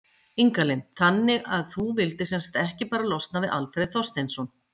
Inga Lind: Þannig að þú vildir sem sagt ekki bara losna við Alfreð Þorsteinsson?